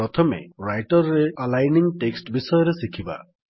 ପ୍ରଥମେ ରାଇଟର୍ ରେ aligning text ବିଷୟରେ ଶିଖିବା